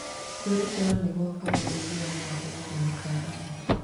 Kwĩrutĩra nĩ gwakaga ũiguano gatagatĩ ka andũ.